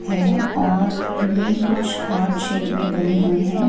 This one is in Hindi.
हैं और ये कुछ हार्ट शेप में बने हुए हैं।